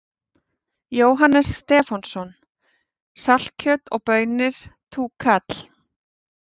Jóhannes Stefánsson: Saltkjöt og baunir, túkall?